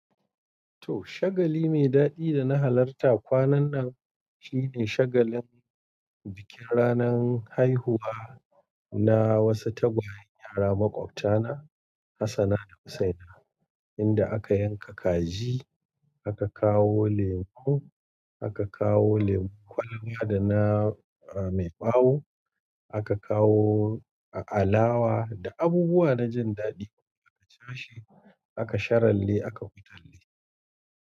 To, shagali mai daɗi da na halarta kwanan nan shine shagalin bikin ranan haihuwa na wasu tagwayen yara maƙwabta na Hassana da Husaina, inda aka yanka kaji, aka kawo lemo, aka kawo lemu kwalaba da na, ah, mai ɓawo, aka kawo alawa da abubuwa na jin daɗi. Aka chashe, aka sharelle, aka hutalle.